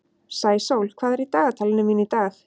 Sæsól, hvað er í dagatalinu mínu í dag?